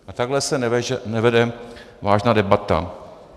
A takhle se nevede vážná debata.